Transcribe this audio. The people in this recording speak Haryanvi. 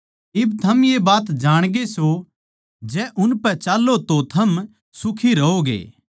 इब थम ये बात जाणगे सों जै उनपै चाल्लों तो थम सुखी रहोगे